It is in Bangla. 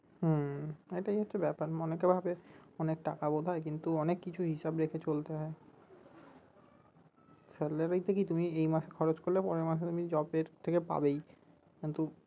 হম এই টাই হচ্ছে ব্যাপার অনেকে ভাবে অনেক টাকা বোধয় কিন্তু অনেক কিছু হিসাব রেখে চলতে হয় salary তে কী তুমি এই মাসে খরচ করলে পরের মাসে তুমি job এর থেকে পাবেই কিন্তু